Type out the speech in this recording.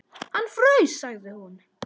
Hann fraus, sagði hún.